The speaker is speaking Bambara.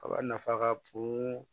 Kaba nafa ka bon